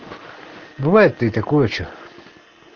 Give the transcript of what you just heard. бывает ли такое что